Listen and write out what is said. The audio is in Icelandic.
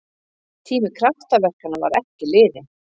Tími kraftaverkanna var ekki liðinn!